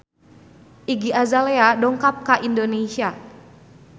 Iggy Azalea dongkap ka Indonesia